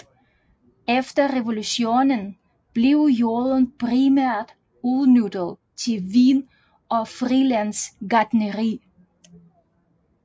Efter revolutionen blev jorden primært udnyttet til vin og frilandsgartneri